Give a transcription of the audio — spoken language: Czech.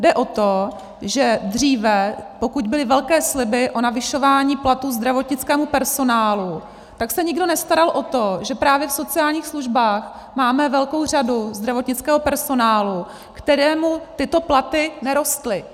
Jde o to, že dříve, pokud byly velké sliby o navyšování platů zdravotnickému personálu, tak se nikdo nestaral o to, že právě v sociálních službách máme velkou řadu zdravotnického personálu, kterému tyto platy nerostly.